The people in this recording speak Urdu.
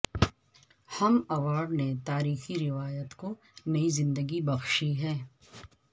ہم ایوارڈ نے تاریخی روایت کو نئی زندگی بخشی ہے